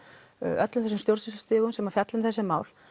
öllum þessum stjórnsýslustigum sem fjalla um þessi mál